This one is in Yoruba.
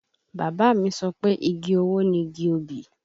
Bàbá mi sọ pé igi owó ni igi obì